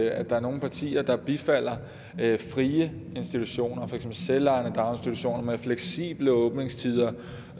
at der er nogle partier der bifalder frie institutioner for selvejende daginstitutioner med fleksible åbningstider